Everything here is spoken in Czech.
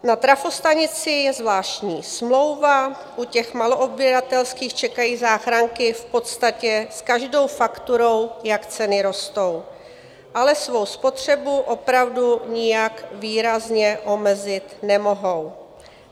Na trafostanici je zvláštní smlouva, u těch maloodběratelských čekají záchranky v podstatě s každou fakturou, jak ceny rostou, ale svou spotřebu opravdu nijak výrazně omezit nemohou.